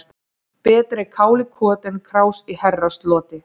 Betra er kál í koti en krás í herrasloti.